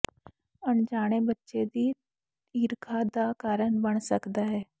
ਅਣਜਾਣੇ ਬੱਚੇ ਦੀ ਈਰਖਾ ਦਾ ਕਾਰਨ ਬਣ ਸਕਦਾ ਹੈ